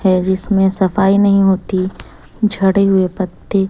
है जीसमें सफाई नहीं होती झड़े हुए पत्ते--